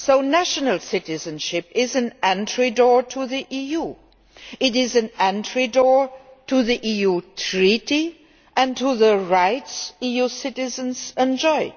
National citizenship is an entrance door to the EU. It is an entrance door to the EU Treaty and to the rights EU citizens enjoy.